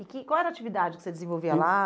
E que qual era a atividade que você desenvolvia lá?